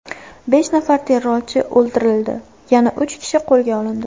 Besh nafar terrorchi o‘ldirildi, yana uch kishi qo‘lga olindi.